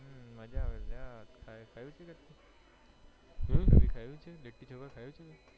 હમ મજ્જા આવે અલ્યા ખાધું છે તે ખાયી છે લીટી ચોખા